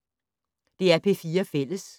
DR P4 Fælles